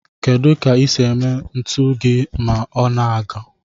Kedu ka ise eme ntu gi ma ọaa ngo